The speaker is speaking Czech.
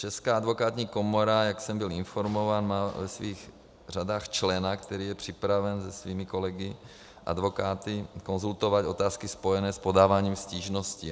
Česká advokátní komora, jak jsem byl informován, má ve svých řadách člena, který je připraven se svými kolegy advokáty konzultovat otázky spojené s podáváním stížností.